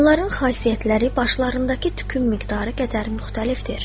Onların xasiyyətləri başlarındakı tükün miqdarı qədər müxtəlifdir.